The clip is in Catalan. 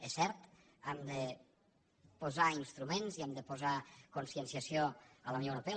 és cert hem de posar instruments i hem de posar conscienciació a la unió europea